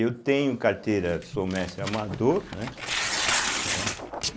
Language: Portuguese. Eu tenho carteira, sou mestre amador, né? né?